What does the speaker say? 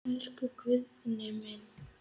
Elsku Guðni minn.